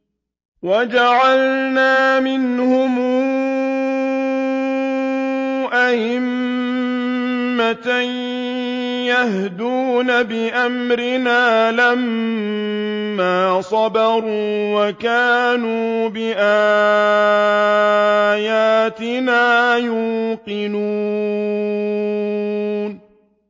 وَجَعَلْنَا مِنْهُمْ أَئِمَّةً يَهْدُونَ بِأَمْرِنَا لَمَّا صَبَرُوا ۖ وَكَانُوا بِآيَاتِنَا يُوقِنُونَ